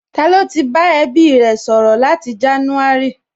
Ta ló ti bá ẹbí rẹ̀ sọ̀rọ̀ láti jánúárì?